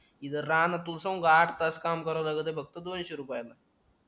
इथे राह न तू सांगू आठ तास काम कराव लागत आहे फक्त दोनशे रुपयात